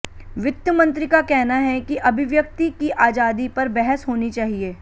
वित्त मंत्री का कहना है कि अभिव्यक्ति की आजादी पर बहस होनी चाहिए